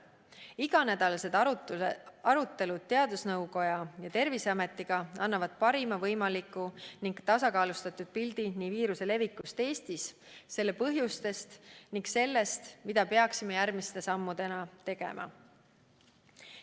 Iganädalased arutelud teadusnõukoja ja Terviseametiga annavad parima võimaliku ning tasakaalustatud pildi viiruse levikust Eestis, selle põhjustest ning sellest, mida peaksime järgmiste sammudena tegema.